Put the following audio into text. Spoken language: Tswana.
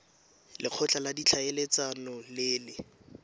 lekgotla la ditlhaeletsano le le